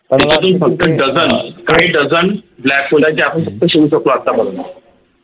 फक्त dozen काही dozenblackhole आहे जे आपण फक्त शोधू शकलो आत्तापर्यंत